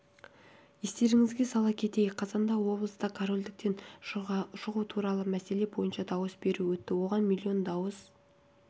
естеріңізге сала кетейік қазанда облыста корольдіктен шығу туралы мәселе бойынша дауыс беру өтті оған миллион дауыс